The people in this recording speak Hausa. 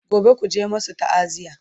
gobe kuje ku masu ta'aziya!